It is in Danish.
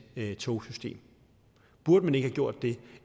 togsystem burde man ikke have gjort det